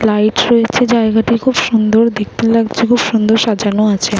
Light রয়েছে। জায়গাটি খুব সুন্দর দেখতে লাগছে। খুব সুন্দর সাজানো আছে।